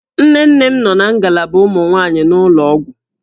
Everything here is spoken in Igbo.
Nne nne m nọ na ngalaba ụmụ nwaanyị n'ụlọ ọgwụ